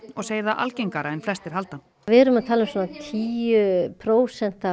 og segir það algengara en flestir halda við erum að tala um svona tíu prósent